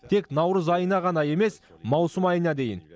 тек наурыз айына ғана емес маусым айына дейін